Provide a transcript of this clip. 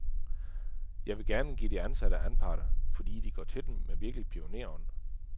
Jeg vil gerne give de ansatte anparter, fordi de går til den med virkelig pionerånd.